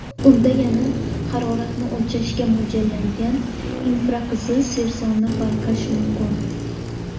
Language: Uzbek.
Unda tana haroratini o‘lchashga mo‘ljallangan infraqizil sensorni payqash mumkin.